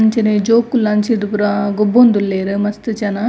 ಅಂಚನೆ ಜೋಕುಲ್ಲ ಅಂಚಿರ್ದ್ ಪೂರ ಗೊಬ್ಬೊಂದುಲ್ಲೆರ್ ಮಸ್ತ್ ಜನ --